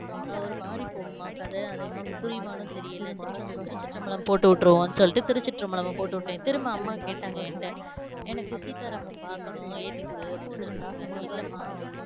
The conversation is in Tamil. ஆஹ் ஒருமாதிரி போகுமா கதை அது அம்மாக்கு புரியுமானு தெரியல சரி first திருச்சிற்றம்பழம் போட்டு விட்றுவோம் சொல்லிட்டு திருச்சிற்றம்பழத்த போட்டு விட்டே, திரும்ப அம்மா கேட்டாங்க ஏன்ட்ட எனக்கு சீதா ராமன் பாக்கணும் ஏத்தி குடுன்னு அப்டி சொன்னாங்க இல்ல மா,